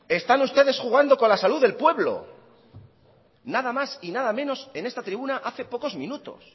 están ustedes jugando con la salud del pueblo nada más y nada menos en esta tribuna hace pocos minutos